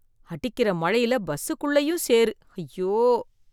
அடிக்கிற மழையில பஸ் குள்ளையும் சேரு, அய்யோ.